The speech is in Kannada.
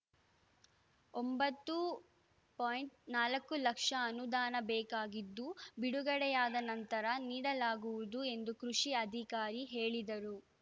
ಒಂಬತ್ತು ಪಾಯಿಂಟ್ ನಾಲ್ಕು ಲಕ್ಷ ಅನುದಾನ ಬೇಕಾಗಿದ್ದು ಬಿಡುಗಡೆಯಾದ ನಂತರ ನೀಡಲಾಗುವುದು ಎಂದು ಕೃಷಿ ಅಧಿಕಾರಿ ಹೇಳಿದರು